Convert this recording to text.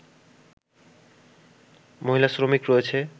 মহিলা শ্রমিক রয়েছে